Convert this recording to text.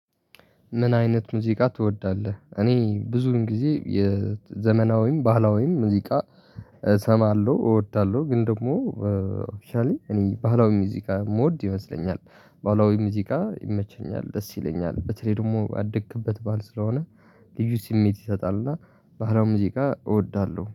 ምን አይነት ሙዚቃ ትወዳለህ? እኔ ብዙን ጊዜ የዘመናዊም ባህላዊም ሙዚቃ እሰማለሁ እወዳለሁ። ግን ደግሞ አክችዋሊ እኔ ባህላዊ ሙዚቃ የምወድ ይመስለኛል። ባህላዊ ሙዚቃ ይመቸኛል ደስ ይለኛል። በተለይ ደግሞ ያደክበት ባህል ስለሆነ ልዩ ስሜት ይሰጣልና ባህላው ሙዚቃ እወዳለሁ